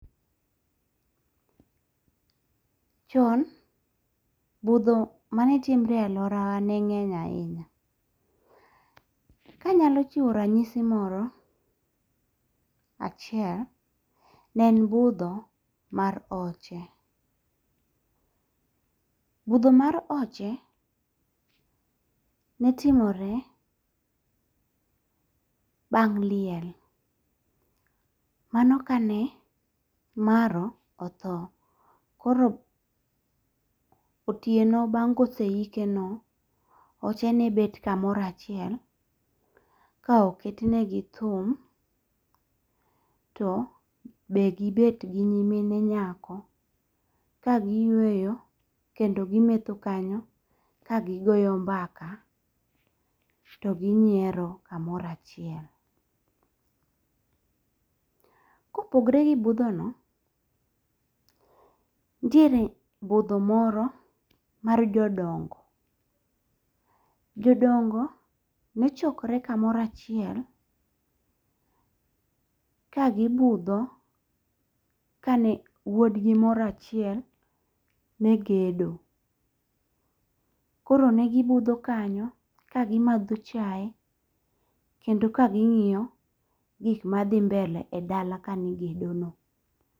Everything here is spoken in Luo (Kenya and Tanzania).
Chon uidho mane timore e aluora wa ne ng'eny ahinya. Ka anyalo chiwo ranyisi moro achiel, ne en budho mar oche. Budho mar oche ne timore bang' liel. Mano kane maro otho koro otieno bang' kose ike no, oche ne bet kamoro achiel ka oket negi thum to be gibet gi nyimine nyako ka giyueyo kendo gimetho kanyo ka gigoyo mbaka to ginyiero kamoro achiel. Kopogre gi budho no nitiere budho moro mar jodongo. Jodongo nechokre kamoro achiel kagibudho kane wuodgi moro achiel ne gedo. Koro ne gibudho kanyo ka gimadho chae kendo ka ging'iyo gik ma dhi mbele e dala kamigedo no.